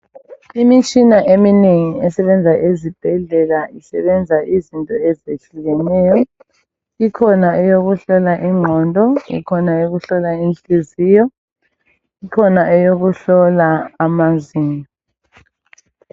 imitshina eminengi esebenza ezibhedlela isebenza izinto esitshiyeneyo ikhona eyokuhlola ingqondo ikhona eyokuhlola inhliziyo ikhona eyokuyelapha amazinyo